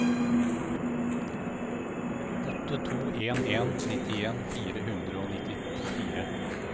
åtte to en en nittien fire hundre og nittifire